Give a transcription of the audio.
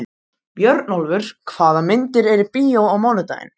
Björnólfur, hvaða myndir eru í bíó á mánudaginn?